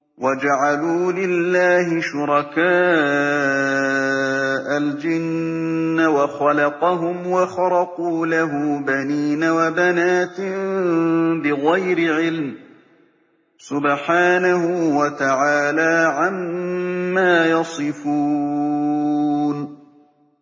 وَجَعَلُوا لِلَّهِ شُرَكَاءَ الْجِنَّ وَخَلَقَهُمْ ۖ وَخَرَقُوا لَهُ بَنِينَ وَبَنَاتٍ بِغَيْرِ عِلْمٍ ۚ سُبْحَانَهُ وَتَعَالَىٰ عَمَّا يَصِفُونَ